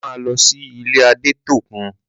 A máa lọ sí ilé Adétóun.